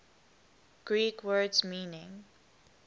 greek words meaning